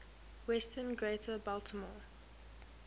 western greater baltimore